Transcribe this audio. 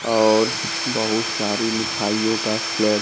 और बहुत सारी मिठाइयों का स्लैब --